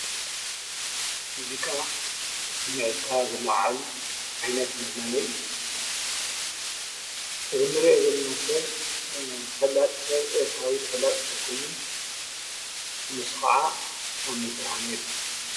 ሙዚቃ ስምዒትካ ዘለዓዕል ዓይነት መዝናነዪ እዩ፡፡ እዚ እንሪኦ ዘለና ሰብ ተፈላጢ ሰብ እንታብ ተፈላጢ ሰብ ኮይኑ ንሱ ከዓ ሳሚ ብርሃነ ይበሃል፡፡